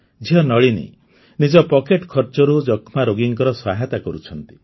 ଝିଅ ନଳିନୀ ନିଜ ପକେଟ୍ ଖର୍ଚ୍ଚରୁ ଯକ୍ଷ୍ମା ରୋଗୀଙ୍କର ସହାୟତା କରୁଛନ୍ତି